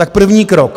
Tak první krok.